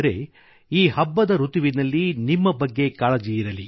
ಎಲ್ಲಾ ಪರ್ವಗಳಲ್ಲೂ ನಿಮ್ಮಬಗ್ಗೆ ಕಾಳಜಿಯಿರಲಿ